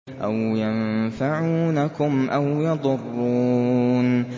أَوْ يَنفَعُونَكُمْ أَوْ يَضُرُّونَ